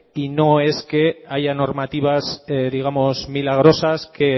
y no es que haya normativas digamos milagrosas que